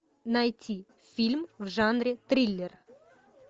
найти фильм в жанре триллер